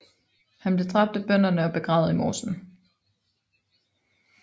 Han blev dræbt af bønderne og begravet i mosen